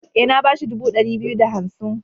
E, na ba shi dubu ɗari biyu da hansim.